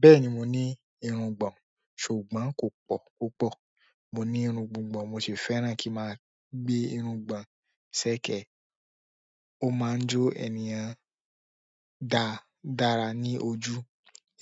Bẹ́ẹ̀ni mo ní irungbọ̀n, ṣùgbọ́n kò pọ̀ púpọ̀, mò ní irun gbugbọ̀n, mo sì fẹ́ràn kí n máa gbé irungbọ̀n ṣẹkẹ̀ẹ̀. Ó máa ń jó ènìyàn dá dára ní ojú.